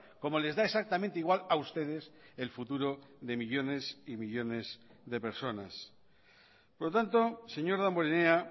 como les da exactamente igual a ustedes el futuro de millónes y millónes de personas por lo tanto señor damborenea